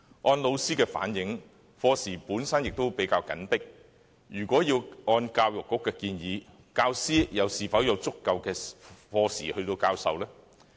按老師的反映，原本的課時已比較緊迫，如果要按教育局的建議，教師又是否有足夠的課時授課呢？